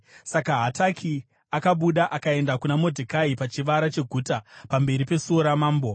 Saka Hataki akabuda akaenda kuna Modhekai pachivara cheguta pamberi pesuo ramambo.